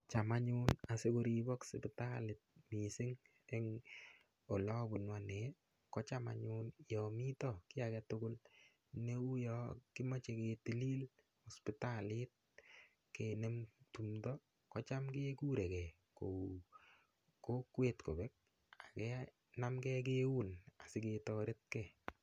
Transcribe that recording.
Cham anyun asikoriboksipitali mising' eng' ole abunu ane ko cham anyun yo mito kiinagetugul neu yo kimochei ketilil sipitalit kenem tumdo kocham kekuregei kou kokwet kobek akenamgei keun asiketoretkei